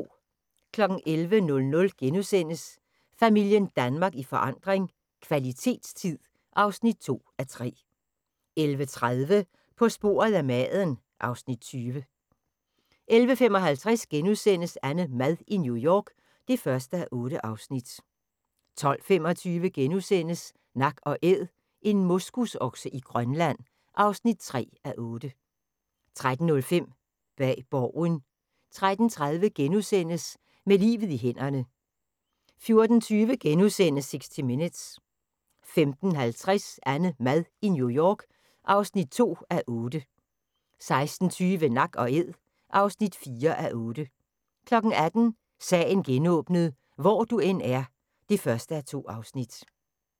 11:00: Familien Danmark i forandring - kvalitetstid (2:3)* 11:30: På sporet af maden (Afs. 20) 11:55: AnneMad i New York (1:8)* 12:25: Nak & Æd - en moskusokse i Grønland (3:8)* 13:05: Bag Borgen 13:30: Med livet i hænderne * 14:20: 60 Minutes * 15:50: AnneMad i New York (2:8) 16:20: Nak & Æd (4:8) 18:00: Sagen genåbnet: Hvor du end er (1:2)